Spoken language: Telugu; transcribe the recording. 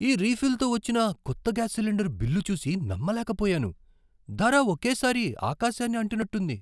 ఈ రీఫిల్తో వచ్చిన కొత్త గ్యాస్ సిలిండర్ బిల్లు చూసి నమ్మలేకపోయాను. ధర ఒకే సారి ఆకాశాన్ని అంటినట్టుంది.